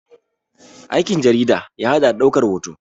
Aikin jarida ya haɗa da ɗaukan hoto